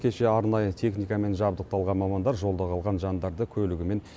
кеше арнайы техникамен жабдықталған мамандар жолда қалған жандарды көлігімен